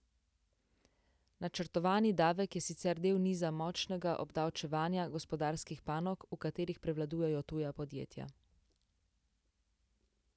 Načrtovani davek je sicer del niza močnega obdavčevanja gospodarskih panog, v katerih prevladujejo tuja podjetja.